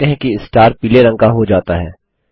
आप देखते है कि स्टार पीले रंग का हो जाता है